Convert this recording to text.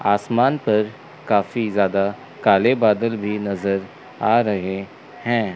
आसमान पर काफी ज्यादा काले बादल भी नजर आ रहे हैं।